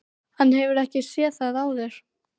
Hann hefur ekki séð þá áður.